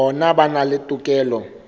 bona ba na le tokelo